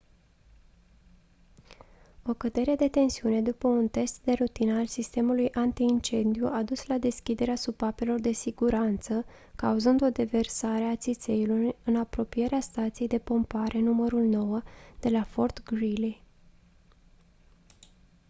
o cădere de tensiune după un test de rutină al sistemului anti-incendiu a dus la deschiderea supapelor de siguranță cauzând o deversare a țițeiului în apropierea stației de pompare nr. 9 de la fort greely